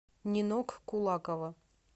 нинок кулакова